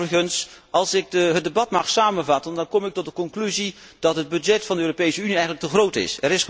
Overigens, als ik het debat mag samenvatten, dan kom ik tot de conclusie dat het budget van de Europese Unie eigenlijk te groot is.